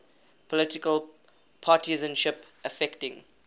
political partisanship affecting